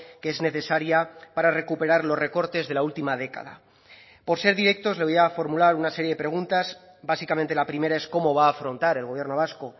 que es necesaria para recuperar los recortes de la última década por ser directos le voy a formular una serie de preguntas básicamente la primera es cómo va a afrontar el gobierno vasco